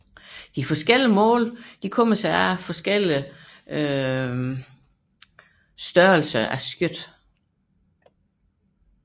De forskellige mål begrunder sig i forskelligt dimensionerede skørter